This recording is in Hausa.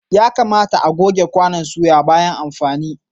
Ya kamata a'goge kwanon soya bayan amfani.